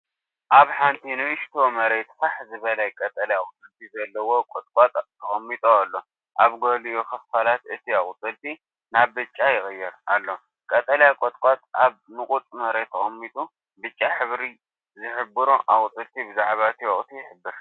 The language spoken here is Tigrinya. ኣብ ሓንቲ ንእሽቶ መሬት ፋሕ ዝበለ ቀጠልያ ኣቝጽልቲ ዘለዎ ቘጥቋጥ ተቐሚጡ ኣሎ ። ኣብ ገሊኡ ኽፋላት እቲ ኣቝጽልቲ ናብ ብጫ ይቕየር ኣሎ። ቀጠልያ ቘጥቋጥ ኣብ ንቑጽ መሬት ተቐሚጡ ብጫ ዝሕብሩ ኣቝጽልቲ ብዛዕባ እቲ ወቕቲ ይሕብር።